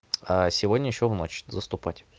а сегодня ещё в ночь заступать